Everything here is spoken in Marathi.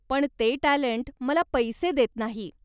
पण ते टॅलंट मला पैसे देत नाही.